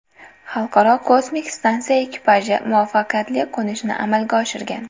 Xalqaro kosmik stansiya ekipaji muvaffaqiyatli qo‘nishni amalga oshirgan.